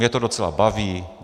Mě to docela baví.